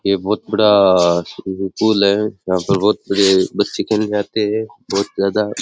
ये बहुत बड़ा स्विममिन पूल है यहाँ पर बहुत सारे बच्चे खेलने आते है बहुत ज्यादा।